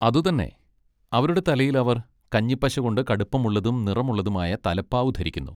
അതുതന്നെ! അവരുടെ തലയിൽ അവർ കഞ്ഞിപ്പശ കൊണ്ട് കടുപ്പമുള്ളതും നിറമുള്ളതുമായ തലപ്പാവ് ധരിക്കുന്നു.